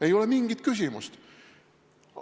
Ei ole mingit küsimust!